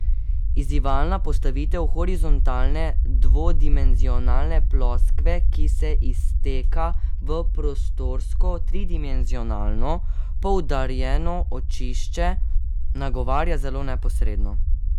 Izzivalna postavitev horizontalne dvodimenzionalne ploskve, ki se izteka v prostorsko tridimenzionalno poudarjeno očišče, nagovarja zelo neposredno.